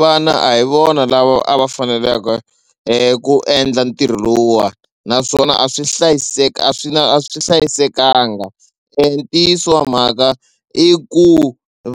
Vana a hi vona lava a va faneleke ku endla ntirho lowuwani naswona a swi hlayiseka a swi na a swi hlayisekanga ntiyiso wa mhaka i ku